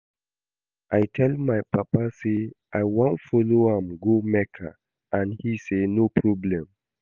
I tell my papa say I wan follow am go Mecca and he say no problem